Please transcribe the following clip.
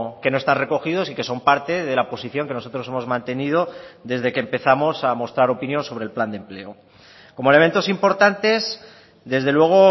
que no están recogidos y que son parte de la posición que nosotros hemos mantenido desde que empezamos a mostrar opinión sobre el plan de empleo como elementos importantes desde luego